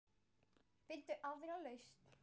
Finndu aðra lausn.